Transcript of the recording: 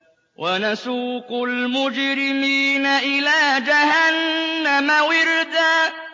وَنَسُوقُ الْمُجْرِمِينَ إِلَىٰ جَهَنَّمَ وِرْدًا